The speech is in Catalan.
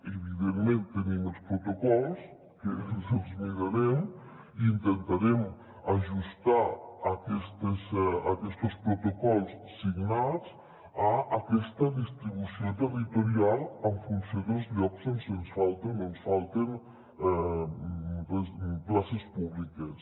evidentment tenim els protocols que ens els mirarem i intentarem ajustar aquestos protocols signats a aquesta distribució territorial en funció dels llocs on ens falten o no ens falten places públiques